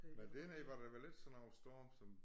Men dernede var der vel ikke sådan noget storm som